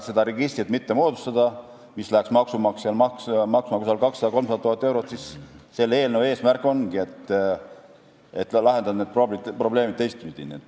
Selleks, et mitte moodustada seda registrit, mis läheks maksumaksjale maksma 200 000 – 300 000 eurot, ongi selle eelnõu eesmärk lahendada need probleemid teistpidi.